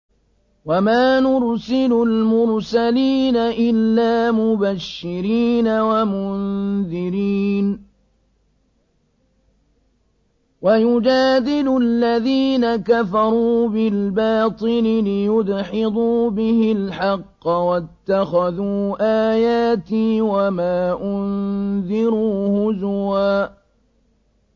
وَمَا نُرْسِلُ الْمُرْسَلِينَ إِلَّا مُبَشِّرِينَ وَمُنذِرِينَ ۚ وَيُجَادِلُ الَّذِينَ كَفَرُوا بِالْبَاطِلِ لِيُدْحِضُوا بِهِ الْحَقَّ ۖ وَاتَّخَذُوا آيَاتِي وَمَا أُنذِرُوا هُزُوًا